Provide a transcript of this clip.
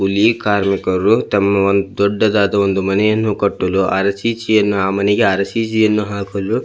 ಇಲ್ಲಿ ಕಾರ್ಮಿಕರು ತಮ್ಮ ವನ್ ದೊಡ್ಡದಾದ ಒಂದು ಮನೆಯನ್ನು ಕಟ್ಟಲು ಅರಸಿಸಿನ ಆ ಮನೆಗೆ ಅರಸಿಸಿನ ಹಾಕಲು --